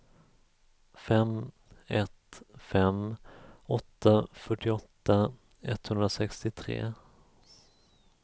fem ett fem åtta fyrtioåtta etthundrasextiotre